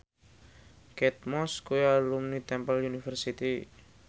Kate Moss kuwi alumni Temple University